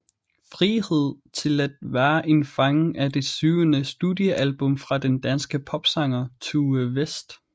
Frihed til at være en fange er det syvende studiealbum fra den danske popsanger Tue West